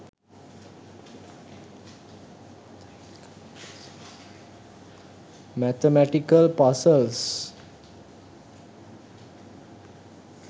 mathematical puzzels